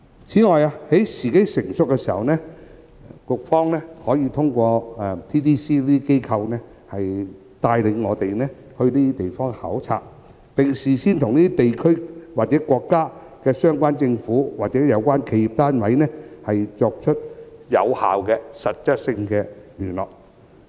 此外，在時機成熟時，當局可透過 TDC 等機構帶領我們到這些地區考察，並事先與這些地區和國家的相關政府或企業單位進行有效的實質溝通。